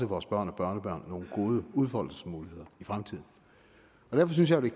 vores børn og børnebørn nogle gode udfoldelsesmuligheder i fremtiden derfor synes jeg det